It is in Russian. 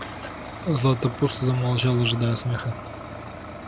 златопуст замолчал ожидая смеха